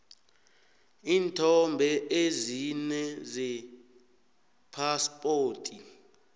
iinthombe ezine zephaspoti